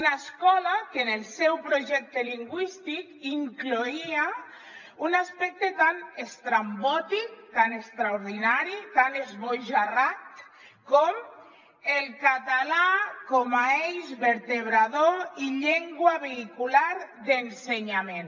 una escola que en el seu projecte lingüístic incloïa un aspecte tan estrambòtic tan extraordinari tan esbojarrat com el català com a eix vertebrador i llengua vehicular d’ensenyament